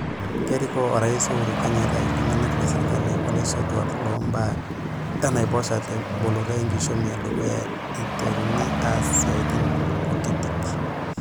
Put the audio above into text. Kerikoo Orais Uhuru Kenyatta ilkituak le srkali olaisotuak loombaa enaiposha teboloto enkishomi edukuya eiteruni aas siatin kutitik.